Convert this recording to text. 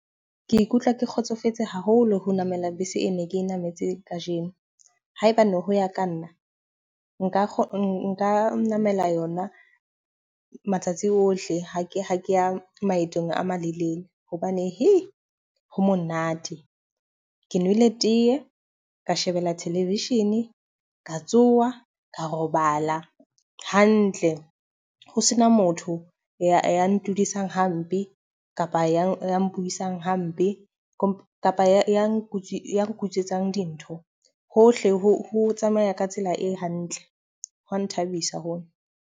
Ke ikutlwa ke kgotsofetse haholo ho namela bese e ne ke nametse ka jeno. Haebane hoya ka nna, nka nka namela yona matsatsi ohle, ha ke ha ke ya maetong a malelele. Hobane ho monate. Ke nwele teye, ka shebella television, ka tsoha ka robala hantle. Ho sena motho ya ntudisang hampe, kapa ya ya mpuisang hampe, ho kapa ya nku nkutswetsang dintho. Hohle ho tsamaya ka tsela e hantle hwa nthabisa hona.